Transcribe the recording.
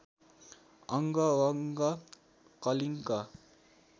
अङ्ग वङ्ग कलिङ्ग